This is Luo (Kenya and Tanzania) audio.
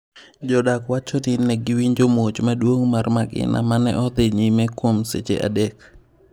Jodak wacho ni ne giwinjo muoch maduong mar magina mane odhi nyime kuon seche adek.